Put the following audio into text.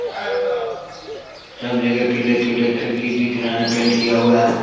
सब जगह पीले पीले खिड़की दिख रहा है पेंट किया हुआ है।